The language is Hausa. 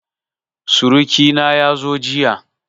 Suruƙi na ya zo jiya